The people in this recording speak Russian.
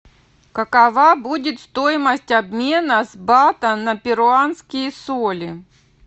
какова будет стоимость обмена с бата на перуанские соли